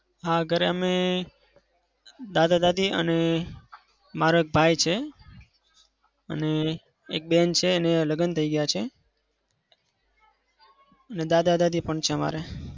હા ઘરે અમે દાદા-દાદી અને મારો એક ભાઈ છે. અને એક બેન છે એના લગ્ન થઇ ગયા છે. ને દાદા-દાદી પણ છે અમારે.